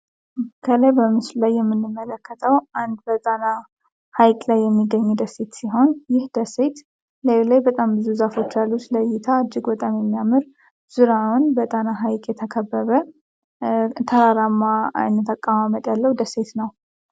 ከላይ በምስሉ ላይ የምንመለከጠው አንድ በጣና ሀይቅ ላይ የሚገኝ ደሴት ሲሆን ይህ ደሴይት ለዩ ላይ በጣም ብዙ ዛፎች ያሎች ለይታ አጅግ በጣም የሚያምር ዙራውን በጣና ሀይቅ የተከበበ ተራራማ አተቃማመጥ ያለው ደሴት ነው።